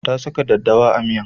Ta saka daddawa a miyan